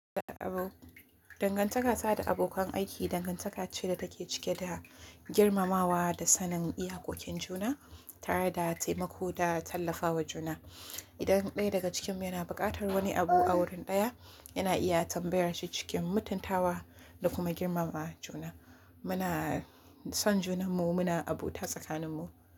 Dangantaka tsakanin abokan aiki dangantaka ce da take cike da girmamawa da sanin iyakokin juna tare da taimako da tallafawa juna. Idan ɗaya daga cikinmu yana buƙatar wani abu a wurin ɗaya, yana iya tambayar shi cikin mutuntawa da kuma girmama juna. Muna son junanmu, muna abota tsakaninmu.